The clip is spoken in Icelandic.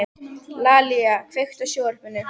Lalíla, kveiktu á sjónvarpinu.